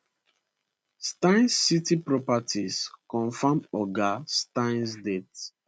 steyn city properties confam oga steyn death